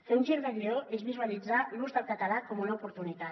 fer un gir de guió és visualitzar l’ús del català com una oportunitat